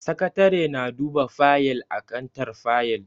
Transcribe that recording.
Sakatare na duba fayil a kantar fayil.